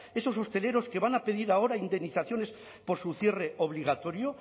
esos hosteleros que van a pedir ahora indemnizaciones por su cierre obligatorio